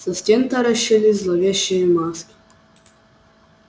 со стен таращились зловещие маски